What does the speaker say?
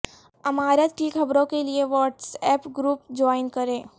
امارات کی خبروں کے لیے واٹس ایپ گروپ جوائن کریں